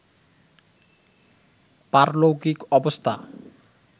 পারলৌকিক অবস্থা